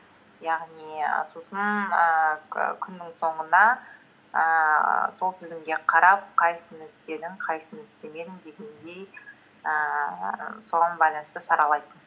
яғни сосын ііі күннің соңында ііі сол тізімге қарап қайсысыны істедің қайсыны істемедің дегендей ііі соған байланысты саралайсың